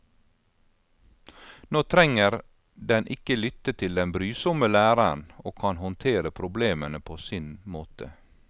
Nå trenger den ikke lytte til den brysomme læreren og kan håndtere problemene på sin måte.